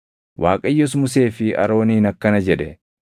Waaqayyos Musee fi Arooniin akkana jedhe;